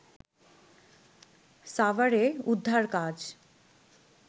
সাভারে উদ্ধারকাজ